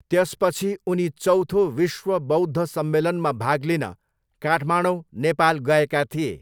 त्यसपछि उनी चौथो विश्व बौद्ध सम्मेलनमा भाग लिन काठमाडौँ नेपाल गएका थिए।